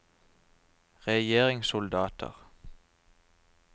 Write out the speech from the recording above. regjeringssoldater